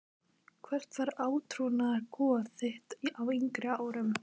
Hvert var átrúnaðargoð þitt á yngri árum?